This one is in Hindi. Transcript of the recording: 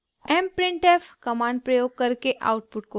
* mprintf कमांड प्रयोग करके आउटपुट को फॉर्मेट करना